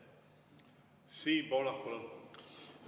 Siim Pohlak, palun!